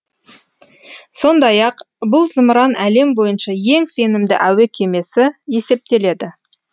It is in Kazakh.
сондай ақ бұл зымыран әлем бойынша ең сенімді әуе кемесі есептеледі